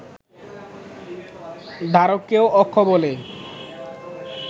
ধারককেও অক্ষ বলে